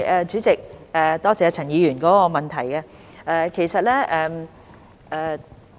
主席，多謝陳議員的補充質詢。